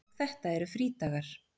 Og þetta eru frídagar.